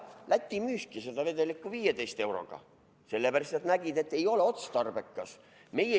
Jah, Läti müüski seda vedelikku 15 euroga, sellepärast et nad nägid, et ei ole otstarbekas.